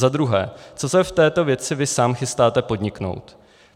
Za druhé: Co se v této věci vy sám chystáte podniknout?